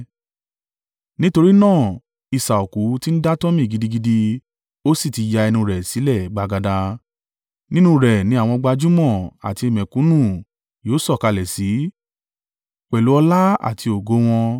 Nítorí náà isà òkú ti ń dátọ́mì gidigidi, ó sì ti ya ẹnu rẹ̀ sílẹ̀ gbagada, nínú rẹ̀ ni àwọn gbajúmọ̀ àti mẹ̀kúnnù yóò sọ̀kalẹ̀ sí pẹ̀lú ọlá àti ògo wọn.